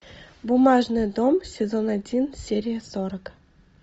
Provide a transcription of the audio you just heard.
бумажный дом сезон один серия сорок